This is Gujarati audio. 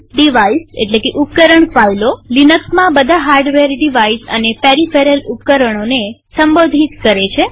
ડિવાઇઝઉપકરણ ફાઈલોલિનક્સમાં બધા હાર્ડવેર ડિવાઇઝ અને પેરીફેરલ ફાઈલ રૂપે સંબોધિત થાય છે